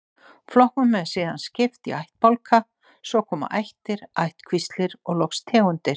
Flokkum er síðan skipt í ættbálka, svo koma ættir, ættkvíslir og loks tegundir.